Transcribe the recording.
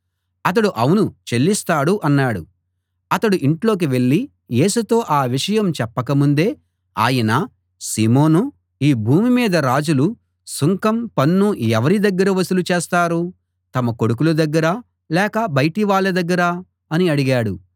అతడు అవును చెల్లిస్తాడు అన్నాడు అతడు ఇంట్లోకి వెళ్ళి యేసుతో ఆ విషయం చెప్పక ముందే ఆయన సీమోనూ ఈ భూమి మీద రాజులు సుంకం పన్ను ఎవరి దగ్గర వసూలు చేస్తారు తమ కొడుకుల దగ్గరా లేక బయటివాళ్ళ దగ్గరా అని అడిగాడు